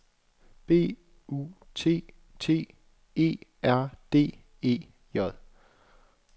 B U T T E R D E J